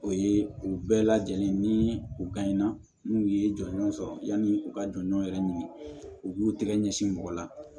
O ye u bɛɛ lajɛlen ye ni u bani na n'u ye jɔnjɔn sɔrɔ yanni u ka jɔn yɛrɛ ɲini u b'u tɛgɛ ɲɛsin mɔgɔ la